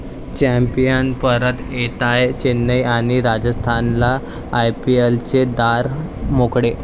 Champions परत येताय, चेन्नई आणि राजस्थानला आयपीएलचे दार मोकळे!